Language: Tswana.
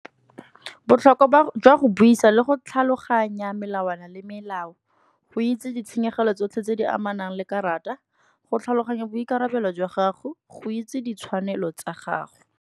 Botlhokwa jwa go buisa le go tlhaloganya melawana le melao, go itse ditshenyegelo tsotlhe tse di amanang le karata. Go tlhaloganya boikarabelo jwa gago, go itse ditshwanelo tsa gago.